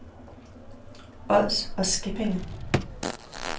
Ods og Skippinge